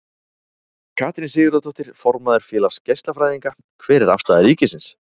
Katrín Sigurðardóttir, formaður Félags geislafræðinga: Hver er afstaða ríkisins?